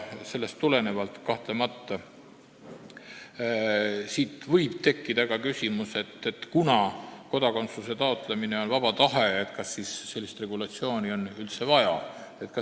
Sellest tulenevalt võib kahtlemata tekkida küsimus, et kuna kodakondsuse taotlemine on seotud vaba tahtega, kas siis sellist regulatsiooni on üldse vaja.